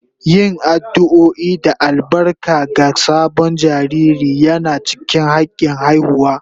Yin addu'o'i da albarka ga sabon jariri yana cikin hakin haihuwa